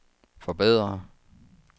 forbedre